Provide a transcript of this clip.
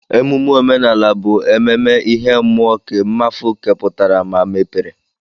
Emume omenala bu ememe ihe mụọ nke mmafu keputara ma mepere.